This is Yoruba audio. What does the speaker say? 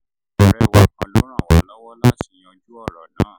ọ̀rẹ́ wa kan ló ràn wá lọ́wọ́ láti yanjú ọ̀rọ̀ náà